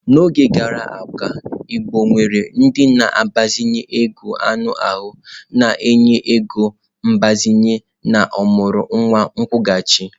N'oge gara aga igbo nwere ndị na-agbazinye ego anụ ahụ na-enye ego mgbazinye na ọmụrụ nwa akwụghachi.